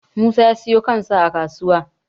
musa ya siyo kan sa a kasuwa